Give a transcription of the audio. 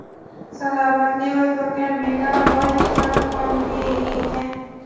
Salobatli va ko‘rkam bino boy kitob fondiga ega ekan.